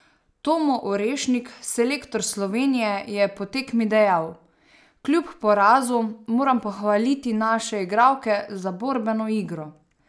Tomo Orešnik, selektor Slovenije, je po tekmi dejal: "Kljub porazu moram pohvaliti naše igralke za borbeno igro.